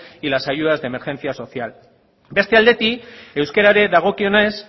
y las ayudas de emergencia social beste aldetik euskerari dagokionez